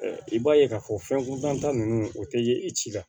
i b'a ye k'a fɔ fɛn ko danta ninnu o tɛ ye i ci la